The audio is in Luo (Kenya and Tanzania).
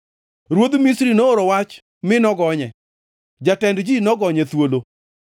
Ruodh Misri nooro wach mi nogonye jatend ji nogonye thuolo.